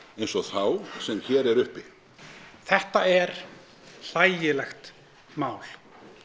eins og þá sem hér er uppi þetta er hlægilegt mál